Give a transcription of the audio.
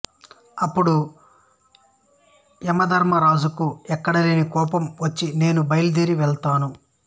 అపుడు యమధర్మరాజుకు ఎక్కడలేని కోపం వచ్చి నేను బయలుదేరి వెడతాను